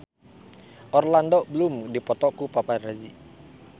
Orlando Bloom dipoto ku paparazi